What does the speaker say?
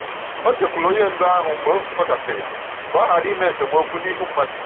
O jekwuuru onye ndu ahụ mgbe nzukọ gasịrị ka ọ ghara ime esemokwu n'ihu mmadụ.